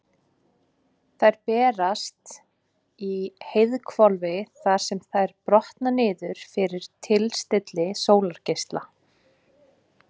Þær berast í heiðhvolfið þar sem þær brotna niður fyrir tilstilli sólargeisla.